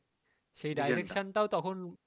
সেই direction টাও তখন